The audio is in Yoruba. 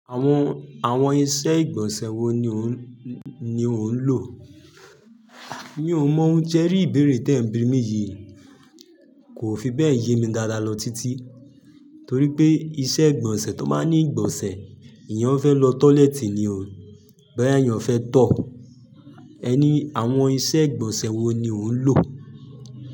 Àwọn, àwọn iṣẹ́ ìgbọ̀nsẹ̀ wo ni òun lo? Mi ò mọ ò, sẹ́rí ìbéèrè tí ẹ̀ ń bí mi yìí, kò fi bẹ́ẹ̀ yé mi dáadáa lọ títí. Torí pé iṣẹ́ ìgbọ̀nsẹ̀ tó máa ń ní ìgbọ̀nsẹ̀, èèyàn fẹ́ lọ tọ́lẹ́ẹ́tì ni ò. Boya eyàn fẹ́ tọ̀. Ẹ ni àwọn iṣẹ́ ìgbọ̀nsẹ̀ wo ni òun ń lò?